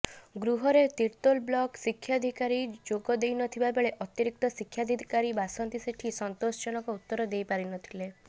ଗୃହରେ ତିର୍ତ୍ତୋଲ ବ୍ଲକ ଶିକ୍ଷଅଧିକାରୀ ଯୋଗଦେଇନଥିବାବେଳେ ଅତିରିକ୍ତ ଶିକ୍ଷାଅଧିକାରୀ ବାସନ୍ତି ସେଠୀ ସନ୍ତୋଷ ଜନକ ଉତ୍ତର ଦେଇ ପାରିନଥିଲେ